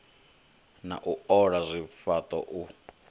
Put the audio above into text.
na u ola zwifhaṱo u